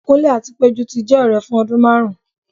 kunle ati pejú ti jẹ ọrẹ fun ọdun marún